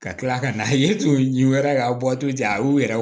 Ka tila ka na yiri to u yɛrɛ la k'a bɔ waati jan a y'u yɛrɛ